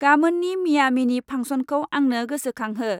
गामोननि मियामिनि फांसनखौ आंनो गोसोखांहो।